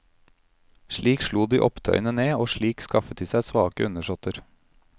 Slik slo de opptøyene ned, og slik skaffet de seg svake undersåtter.